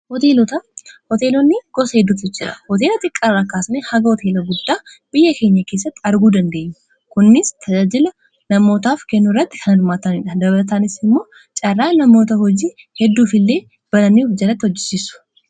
Hoteelonni gosa hedduutu jira hooteela xiqqara kaasani hanga hooteela guddaa biyya keenya keessatti arguu dandeenya kunnis tajaajila namootaaf kennu irratti kan hirmaataniidha. Dabalataanis immoo caarraa namoota hojii hedduuf illee banannii of jalatti hojjijisu.